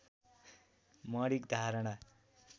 मणिक धारण